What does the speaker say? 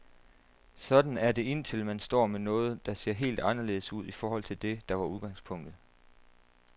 Sådan er det indtil man står med noget, der ser helt anderledes ud i forhold til det, der var udgangspunktet.